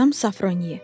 Madam Safronye.